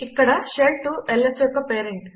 ఇక్కడ షెల్ 2 ల్స్ యొక్క పేరెంట్